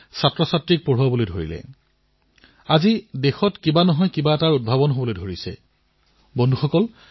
মোৰ বিশ্বাস যে যিদৰে দেশত ৰাষ্ট্ৰীয় শিক্ষা নীতিৰ জৰিয়তে এক বৃহৎ পৰিৱৰ্তন হৈছে আমাৰ শিক্ষকসকলেও ইয়াৰ লাভ শিক্ষাৰ্থীসকললৈ বহন কৰাত গুৰুত্বপূৰ্ণ ভূমিকা পালন কৰিব